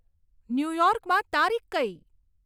ન્યુયોર્કમાં તારીખ કઈ